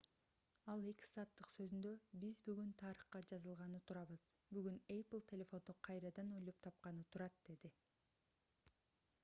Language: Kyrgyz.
ал 2 сааттык сөзүндө биз бүгүн тарыхка жазылганы турабыз бүгүн apple телефонду кайрадан ойлоп тапканы турат - деди